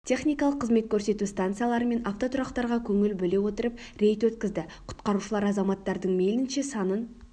техникалық қызмет көрсету станциялары мен автотұрақтарға көңіл бөле отырып рейд өткізді құтқарушылар азаматтардың мейлінше санын